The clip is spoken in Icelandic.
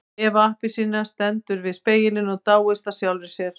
Eva appelsína stendur við spegilinn og dáist að sjálfri sér.